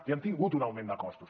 i han tingut un augment de costos